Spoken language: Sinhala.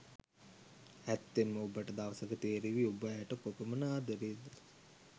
ඇත්තෙන්ම ඔබට දවසක තෙරේවි ඔබ ඇයට කොපමන ආදරේද.